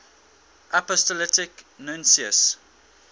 apostolic nuncios